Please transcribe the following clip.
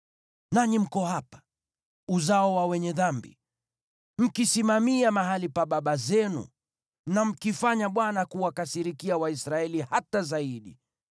“Nanyi mko hapa, uzao wa wenye dhambi, mkisimamia mahali pa baba zenu na mkimfanya Bwana kuwakasirikia Waisraeli hata zaidi.